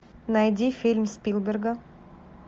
найди фильм спилберга